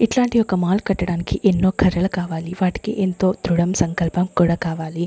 ఇట్లాంటి ఒక మాల్ కట్టడానికి ఎన్నో కర్రలు కావాలి వాటికి ఎంతో దృఢం సంకల్పం కూడా కావాలి.